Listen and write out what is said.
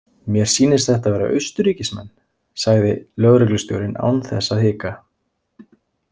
Mér sýnist þetta vera Austurríkismenn, sagði lögreglustjórinn án þess að hika.